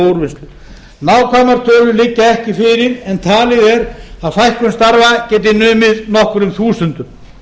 úrvinnslu nákvæmar tölur liggja ekki fyrir en talið er að fækkun starfa geti munið nokkrum þúsundum